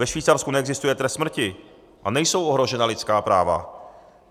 Ve Švýcarsku neexistuje trest smrti a nejsou ohrožena lidská práva.